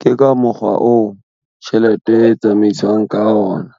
Ke ka mokgwa oo tjhelete e tsamaiswang ka ona.